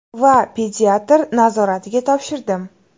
Va pediatr nazoratiga topshirdim.